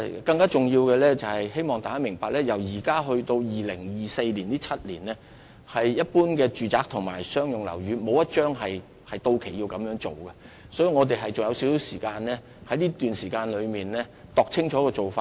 更重要的是，希望大家明白，由現時至2024年的7年間，沒有任何一般商住契約期滿需要續期，所以我們仍有少許時間可以細心研究做法。